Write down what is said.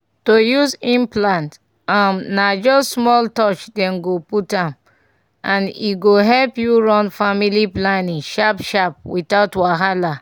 to use implant — um — na just small touch dem go put am and e go help you run family planning sharp-sharp without wahala.